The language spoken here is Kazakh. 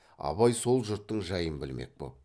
абай сол жұрттың жайын білмек боп